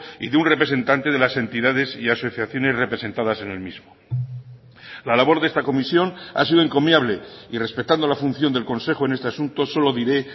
y de un representante de las entidades y asociaciones representadas en el mismo la labor de esta comisión ha sido encomiable y respetando la función del consejo en este asunto solo diré